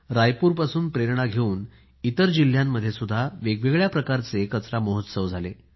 रायपूरपासून प्रेरणा घेऊन इतर जिल्ह्यातही वेगवेगळ्या प्रकारचे कचरा महोत्सव झाले